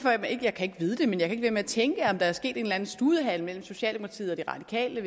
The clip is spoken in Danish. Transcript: vide det men jeg kan at tænke om der er sket en eller anden studehandel mellem socialdemokratiet og de radikale